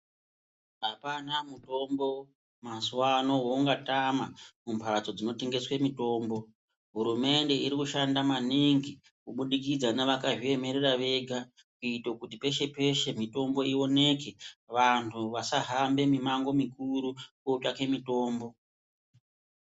Hapana mutombo mazuwano woungatama mumhatso dzinotengeswe mitombo. Hurumende irikushanda maningi kubudikidza nevakazviemerera vega kuito kuti peshe-peshe mitombo ioneke vantu vasahamba mimango mikuru kotsvake mitombo.